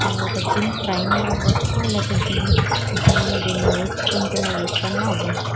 తాను ఒక gym trainer అవ్వొచ్చు లేతే జిం జిం లో వెళ్లి నేచుకున్న వ్యక్తి అయిన అవ్వొచ్చు.